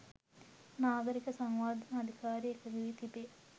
නාගරික සංවර්ධන අධිකාරිය එකඟ වී තිබේ.